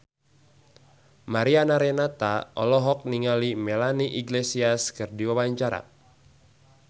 Mariana Renata olohok ningali Melanie Iglesias keur diwawancara